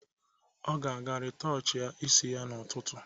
Ọ ga-eje rịtọchịa isi ya n'ụtụtụ